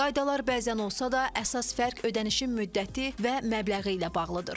Qaydalar bəzən olsa da, əsas fərq ödənişin müddəti və məbləği ilə bağlıdır.